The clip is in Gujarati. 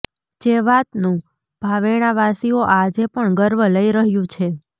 જે વાતનું ભાવેણાવાસીઓ આજે પણ ગર્વ લઈ રહ્યુ છે